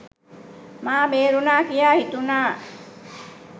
මා බේරුණා කියා හිතුණා.